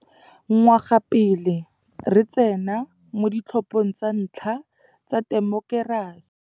Ngwaga pele re tsena mo ditlhophong tsa ntlha tsa temokerasi.